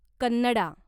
Kannada